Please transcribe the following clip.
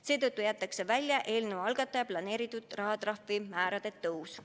Seetõttu jäetakse välja eelnõu algataja plaanitud rahatrahvi määrade tõus.